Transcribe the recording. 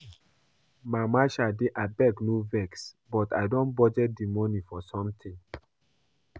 Mama Shade abeg no vex but I don budget the money for something